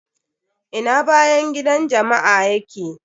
Ina bayan gidan jama'a ya ke?